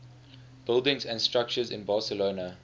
buildings and structures in barcelona